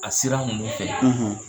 A sira ninnu fɛ yen,